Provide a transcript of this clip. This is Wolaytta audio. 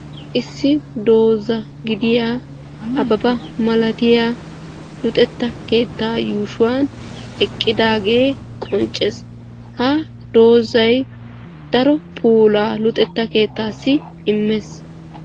Issi dooza gidiya ababa milatiya luxetta keettaa yuushuwan eqqidaagee qonccees. Ha doozay daro puulaa luxetta keettaassi immees.